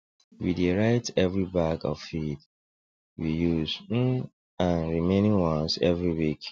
we dey write every bag of feed we use um and remaining ones every week